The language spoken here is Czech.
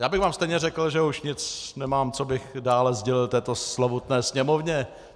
Já bych vám stejně řekl, že už nic nemám, co bych dále sdělil této slovutné Sněmovně.